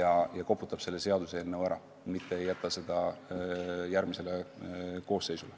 ja koputab selle seaduseelnõu ära, mitte ei jäta seda järgmisele koosseisule.